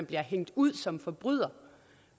bliver hængt ud som forbryder